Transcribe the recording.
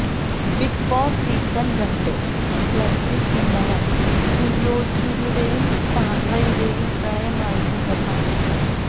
big Boss season രണ്ട് പ്ലസില് ഇന്നലെ സുജോയുടെയും സാന്ദ്രയുടെയും പ്രണയമായിരുന്നു പ്രധാന പ്രശ്നം